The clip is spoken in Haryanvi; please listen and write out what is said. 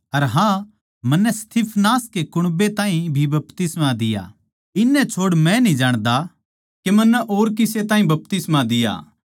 अर हाँ मन्नै स्तिफनास के कुण्बे ताहीं भी बपतिस्मा दिया इन्नै छोड़ मै न्ही जाण्दा के मन्नै और किसे ताहीं भी बपतिस्मा दिया